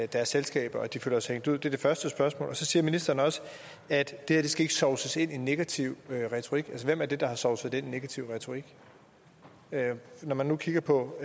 deres selskaber at de føler sig hængt ud det er det første spørgsmål så siger ministeren også at det skal sovses ind i negativ retorik hvem er det der har sovset det ind i negativ retorik når man nu kigger på